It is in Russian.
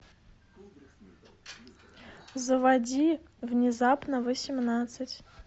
заводи внезапно восемнадцать